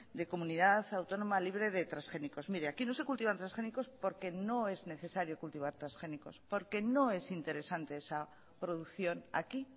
de comunidad autónoma libre de transgénicos mire aquí no se cultivan transgénicos porque no es necesario cultivar transgénicos porque no es interesante esa producción aquí